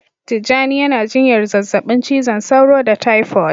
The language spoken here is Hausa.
Tijjani yana jinyar zazzabin cizon sauro da taifot